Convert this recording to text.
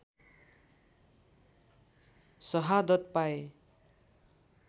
सहादत पाए